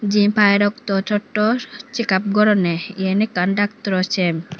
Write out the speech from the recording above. jempai rokto totto cheak up goronne yan ekkan doctoro cham.